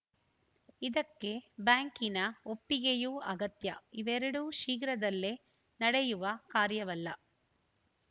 ಇದಕ್ಕೆ ಬ್ಯಾಂಕಿನ ಒಪ್ಪಿಗೆಯೂ ಅಗತ್ಯ ಇವೆರಡೂ ಶೀಘ್ರದಲ್ಲೇ ನಡೆಯುವ ಕಾರ್ಯವಲ್ಲ